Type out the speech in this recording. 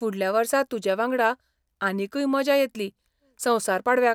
फुडल्या वर्सा तुजेवांगडा आनीकय मजा येतली संवसार पाडव्याक!